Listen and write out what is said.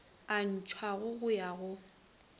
a ntšhiwago go ya go